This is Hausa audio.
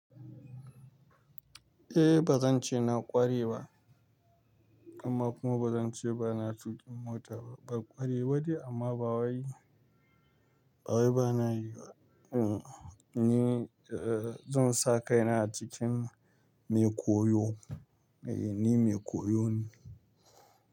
Eh bazan ce na ƙware ba amma kuma bazan ce bana tuƙin mota ba. Ba ƙware ba ne amma ba waye, ba waye bana yi ba. Hmm, ni eh zan sa kaina a cikin mai koyo. Eh ni mai koyo ne.